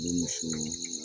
Ne muso